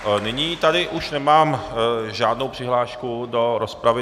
Nyní tady už nemám žádnou přihlášku do rozpravy.